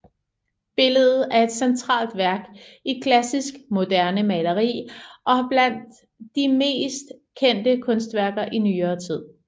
Billedet er et centralt værk i klassisk moderne maleri og blandt de mest kendte kunstværker i nyere tid